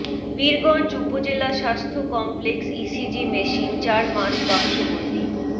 পীরগঞ্জ উপজেলা স্বাস্থ্য complex ECG machine চার মাস বাক্সবন্দী